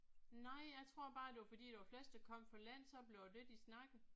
Nej jeg tror bare det var fordi der var flest der kom fra landet så blev det det de snakkede